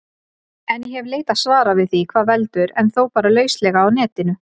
En ég hef leitað svara við því hvað veldur, en þó bara lauslega á Netinu.